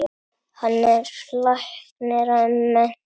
Hann er læknir að mennt.